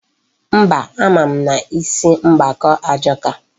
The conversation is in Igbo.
Mba, ama m na isi mgbaka ajọka.